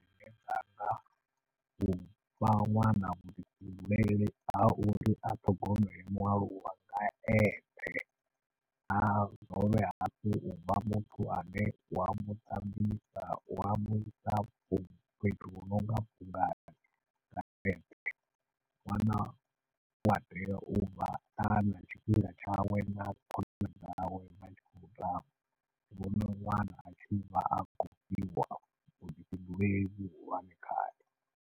Zwine nda nga ufha ṅwana vhuḓifhinduleli ha uri a ṱhogomele mualuwa nga eṱhe a dovhe hafhu uvha muthu ane wa muṱambisa, wa mufha fhethu hu nonga ṅwana ua tea u vha na tshifhinga tshawe na khonani dzawe a tshi khou tamba ndi vhona ṅwana atshi vha a khou fhiwa vhuḓifhinduleli vhuhulwane khae.